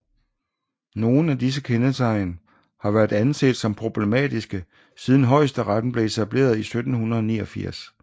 Nogen af disse kendetegn har været anset som problematiske siden højesteretten blev etableret i 1789